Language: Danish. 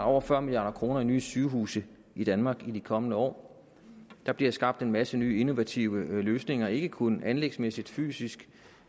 over fyrre milliard kroner i nye sygehuse i danmark i de kommende år der bliver skabt en masse nye innovative løsninger ikke kun anlægsmæssigt fysisk